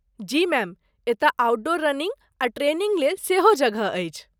जी ma'am, एतय outdoor running आ training लेल सेहो जगह अछि।